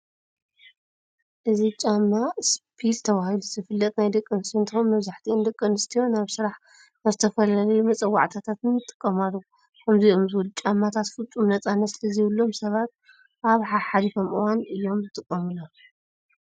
እዚ ጫማ እስፒልተባሂሉ ዝፍለጥ ናይ ደቂ ኣንስትዮ እንትኸውን መብዛሕቲኣን ደቂ ኣንስትዮ ናብ ስራሕ፣ ናብ ዝተፈላለዩ መፀዋዕታታትን ይጥቀማሉ። ከምዚኦም ዝበሉ ጫማታት ፍፁም ነፃነት ስለዘይብሎም ሰባት ኣብ ሓሓሊፎም እዋን እዮም ዝጥቀምሎም።